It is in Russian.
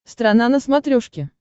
страна на смотрешке